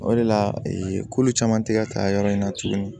O de la ee kolo caman tɛ ka taa yɔrɔ in na tuguni